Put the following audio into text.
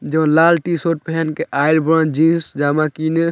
जो लाल टी-शर्ट पहेन के आएल बन जीन्स जामा किने।